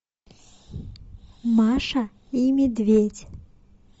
маша и медведь